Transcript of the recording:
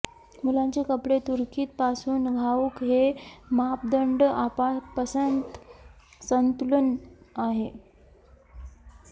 मुलांचे कपडे तुर्की पासून घाऊक हे मापदंड आपापसांत संतुलन आहे